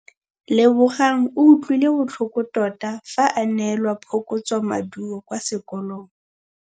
Lebogang o utlwile botlhoko tota fa a neelwa phokotsômaduô kwa sekolong.